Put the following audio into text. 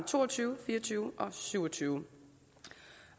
to og tyve fire og tyve og syvogtyvende